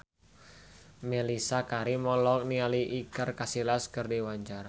Mellisa Karim olohok ningali Iker Casillas keur diwawancara